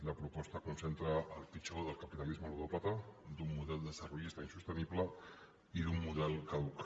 la proposta concentra el pitjor del capitalisme ludòpata d’un model desarrollista insostenible i d’un model caduc